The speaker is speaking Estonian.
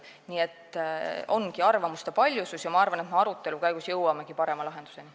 Nii et ongi arvamuste paljusus ja ma arvan, et me arutelu käigus jõuamegi parema lahenduseni.